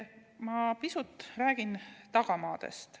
Ma räägin pisut tagamaast.